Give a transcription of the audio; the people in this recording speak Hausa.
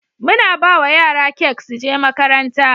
muna bawa yara kek suje makaranta